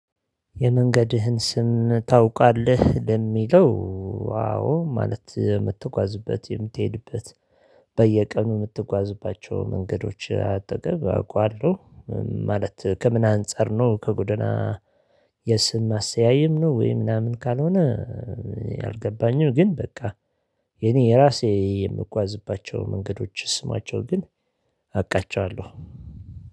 የመንገድህን ስም ታውቃለህ ለሚለው አዎ ማለት የምትጓዝበት የምትሄድበት በየቀኑ የምትጓዝባቸው መንገዶች አጠገብ አውቃለሁ ማለት ከምን አንፃር ነው ከጉደና የስም አሰያየም ነው? ወይ ምናምን ካልሆነ። አልገባኝም። ግን በቃ የኔ የራሴ የምጓዝባቸው መንገዶች ስማቸው ግን አቃቸዋለሁ